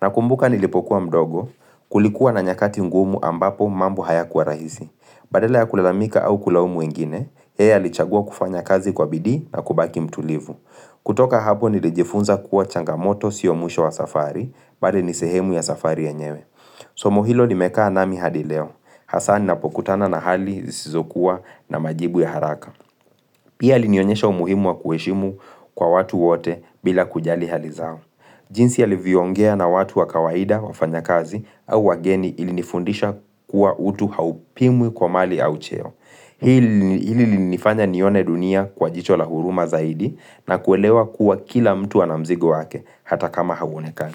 Nakumbuka nilipokuwa mdogo, kulikuwa na nyakati ngumu ambapo mambo hayakuwa rahisi. Badala ya kulalamika au kulaumu wengine, yeye alichagua kufanya kazi kwa bidii na kubaki mtulivu. Kutoka hapo nilijifunza kuwa changamoto sio mwisho wa safari, bali ni sehemu ya safari yenyewe. Somo hilo limekaa nami hadi leo. Hasa ninapokutana na hali zisizokuwa na majibu ya haraka. Pia alinionyesha umuhimu wa kuheshimu kwa watu wote bila kujali hali zao. Jinsi ya alivyoongea na watu wa kawaida, wafanya kazi au wageni ilinifundisha kuwa utu haupimwi kwa mali au cheo. Hili lilinifanya nione dunia kwa jicho la huruma zaidi na kuelewa kuwa kila mtu ana mzigo wake hata kama hauonekani.